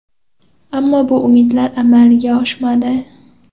Ammo bu umidlar amalga oshmadi.